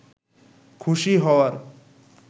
খুশি হওয়ার